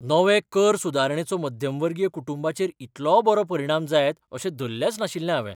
नवे कर सुदारणेचो मध्यमवर्गीय कुटुंबांचेर इतलो बरो परिणाम जायत अशें धल्लेंच नाशिल्लें हांवें.